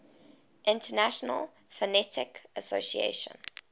international phonetic association